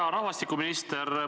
Hea rahvastikuminister!